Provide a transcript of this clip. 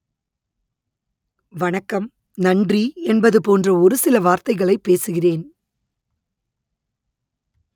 வணக்கம் நன்றி என்பது போன்ற ஒரு சில வார்த்தைகளை பேசுகிறேன்